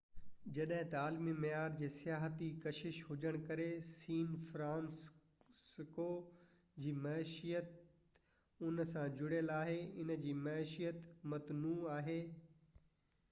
جڏهن ته عالمي معيار جي سياحتي ڪشش هجڻ ڪري سين فرانسسکو جي معيشت ان سان جڙيل آهي ان جي معيشت متنوع آهي